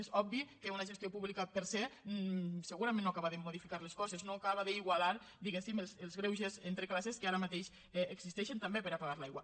és obvi que una gestió pública per se segurament no acaba de modificar les coses no acaba d’igualar diguéssim els greuges entre classes que ara mateix existeixen també per a pagar l’aigua